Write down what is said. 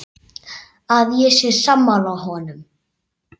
Að ég sé sammála honum.